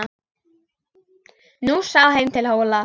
Nú sá heim til Hóla.